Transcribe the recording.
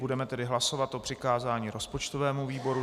Budeme tedy hlasovat o přikázání rozpočtovému výboru.